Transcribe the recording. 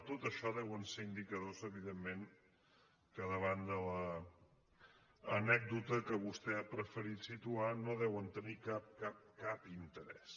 tot això deuen ser indicadors evidentment que davant de l’anècdota que vostè ha preferit situar no deuen tenir cap cap interès